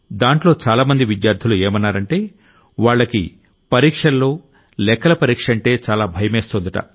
దాంట్లో చాలా మంది విద్యార్థులు ఏమన్నారంటే వాళ్లకి పరీక్షల్లో లెక్కల పరీక్షంటే చాలా భయమేస్తోందట